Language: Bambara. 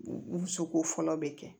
Musoko fɔlɔ bɛ kɛ